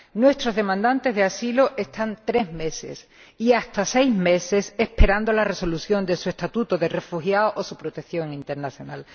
Nuestros demandantes de asilo están tres meses, y hasta seis, esperando la resolución de su estatuto de refugiado o su protección internacional.